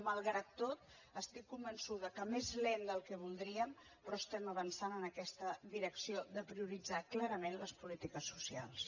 malgrat tot estic convençuda que més lentament del que voldríem però estem avançant en aquesta direcció de prioritzar clarament les polítiques socials